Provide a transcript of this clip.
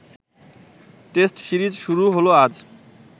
test series শুরু হল আজ